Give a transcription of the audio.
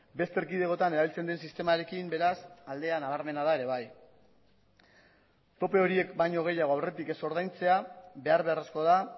beste erkidegotan erabiltzen den sistemarekin beraz aldea nabarmena da ere bai tope horiek baino gehiago aurretik ez ordaintzea behar beharrezkoa da